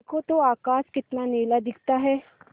देखो तो आकाश कितना नीला दिखता है